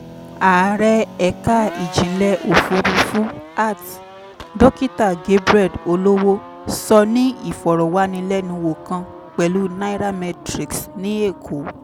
ààrẹ ẹ̀ka ìjìnlẹ̀ òfuurufú (art) dokita gabriel olowo sọ ní ìfọ̀rọ̀wánilẹ́nuwò kan pẹ̀lú nairametrics ní èkó.